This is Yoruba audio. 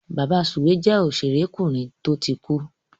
Bàbasùwé jẹ́ òṣèrékùnrin tó ti kú.